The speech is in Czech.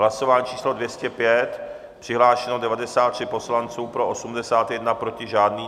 Hlasování číslo 205, přihlášeno 93 poslanců, pro 81, proti žádný.